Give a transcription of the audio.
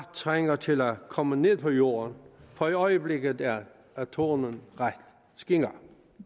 trænger til at komme ned på jorden for i øjeblikket er tonen ret skinger